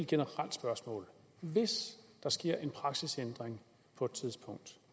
generelt spørgsmål hvis der sker en praksisændring på et tidspunkt